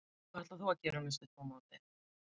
Hvað ætlar þú þá að gera næstu tvo mánuðina?